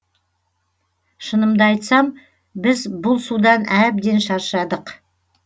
шынымды айтсам біз бұл судан әбден шаршадық